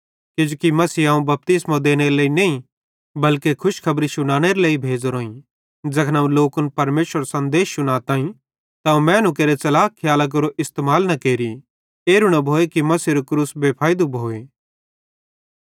किजोकि मसीहे अवं बपतिस्मो देनेरे लेइ नईं बल्के खुशखबरी शुनानेरे लेइ भेज़ोरोईं ज़ैखन अवं लोकन परमेशरेरो सन्देश शुनाताईं त अवं मैनू केरे च़लाक खियालां केरो इस्तेमाल न केरि एरू न भोए कि मसीहेरू क्रूस बेफैइदू भोए